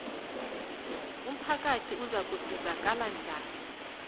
umphakathi uzakusizakala njani